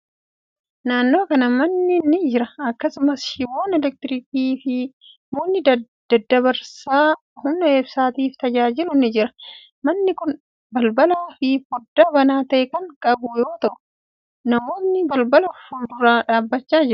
Naannoo kana manni ni jira. Akkasumas, shiboon elektiriikii fi mukni daddabarsa humna ibsaatif tajaajilu ni jira. Manni kun balbalaa fi foddaa banaa ta'e kan qabu yoo ta'u, namootni balbala fuuldura dhaabbachaa jiru.